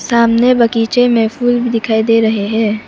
सामने बगीचे में फूल भी दिखाई दे रहे हैं।